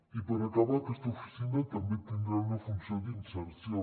i per acabar aquesta oficina també tindrà una funció d’inserció